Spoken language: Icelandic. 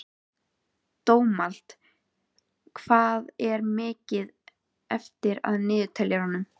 Dómald, hvað er mikið eftir af niðurteljaranum?